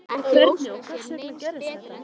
Hvernig og hvers vegna gerðist þetta?